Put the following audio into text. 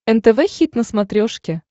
нтв хит на смотрешке